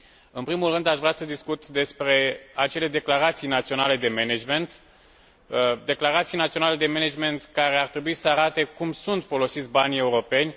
În primul rând, aș vrea să discut despre acele declarații naționale de management, declarații naționale de management care ar trebui să arate cum sunt folosiți banii europeni.